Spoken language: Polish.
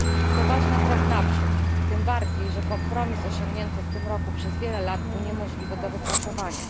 To ważny krok na przód, tym bardziej, że kompromis osiągnięty w tym roku przez wiele lat był niemożliwy do wypracowania.